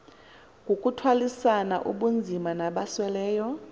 kukuthwalisana ubunzima nabasweleyo